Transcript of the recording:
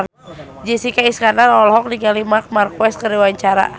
Jessica Iskandar olohok ningali Marc Marquez keur diwawancara